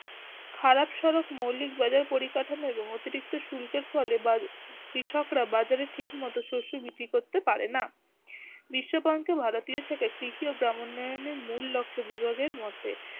খারাপ সড়ক মৌলিক বাজার পরিকাঠামো এবং অতিরিক্ত শুল্কের ফলে এবার কৃষকরা বাজারে ঠিকমতো শস্য বিক্রি করতে পারে না। বিশ্ব পঙ্খে ভারতীয় এর সাথে তৃতীয় গ্রাম উন্নয়নে, মূল লক্ষ্যে বিভাগের মতে